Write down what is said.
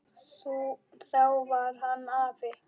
Þá var hann afi.